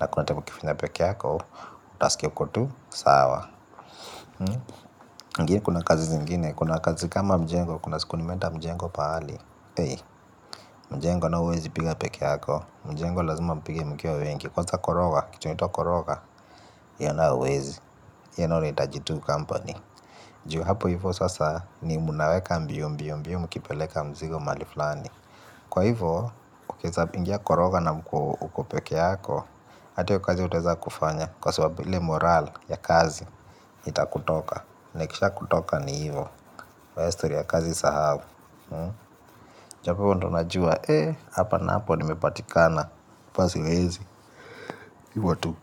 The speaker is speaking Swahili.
na kuna time ukifanya peke yako utaskia uko tu sawa. Ngie kuna kazi zingine, kuna kazi kama mjengo. Kuna siku nimeenda mjengo paali ey, mjengo nayo huwezi piga peke yako. Mjengo lazima mpige mkiwa wengi. Kwanza koroga, kitu inaitwa koroga, hiyo nayo huwezi. Hio nayo inahitaji tuu kampani. Juu hapo hivo sasa ni munaweka mbio, mbio mkipeleka mzigo mahali flani. Kwa hivo, ukieza pingia koroga na uko uko peke yako, hata hiyo kazi hutaweza kufanya kwa sababu ile moral ya kazi itakutoka. Na ikisha kutoka ni hivo, kwa ya istori ya kazi sahau. Chapewa ndo najuwa eh, hapa napo ni mepatikana hapa siwezi, hivo tu.